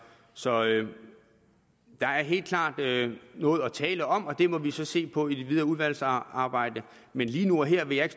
så der er helt klart noget at tale om og det må vi så se på i det videre udvalgsarbejde men lige nu og her vil jeg